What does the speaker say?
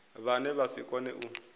vhane vha si kone u